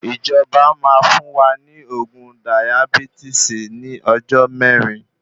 Ìjọba máa fún wa ní oògùn dayabísìtì ní ọjọ mẹrin